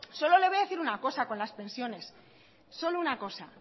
solo le voy a decir una cosa con las pensiones solo una cosa